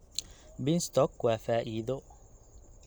Beanstalk waa faa'iido.